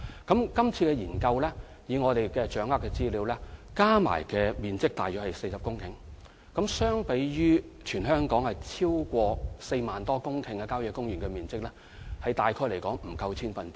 根據現時掌握的資料，今次研究所涉土地面積共約40公頃，相對於全港超過4萬公頃的郊野公園用地，面積大約不足千分之一。